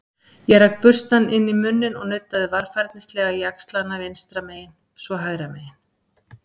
Ég rak burstann inn í munninn og nuddaði varfærnislega jaxlana vinstra megin- svo hægra megin.